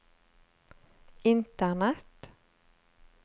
internett